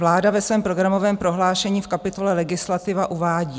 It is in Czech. Vláda ve svém programovém prohlášení v kapitole Legislativa uvádí: